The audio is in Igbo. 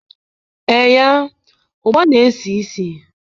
Eee ya, ugba na-esi isi